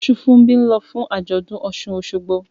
Osunfunbi ń lọ fún àjọ̀dún Osun-Osogbo